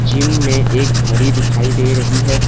Gym में एक घड़ी दिखाई दे रही है।